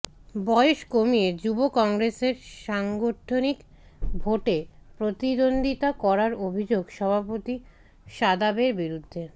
বয়স কমিয়ে যুব কংগ্রেসের সাংগঠনিক ভোটে প্রতিদ্বন্দ্বিতা করার অভিযোগ সভাপতি শাদাবের বিরুদ্ধে